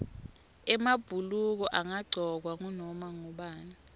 emabhuluko angagcokwa ngunoma ngubani